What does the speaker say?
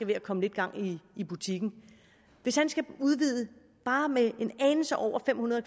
ved at komme lidt gang i butikken hvis han skal udvide bare med en anelse over fem hundrede